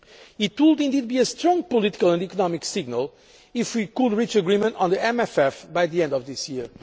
you. It would indeed be a strong political and economic signal if we could reach agreement on the MFF by the end of this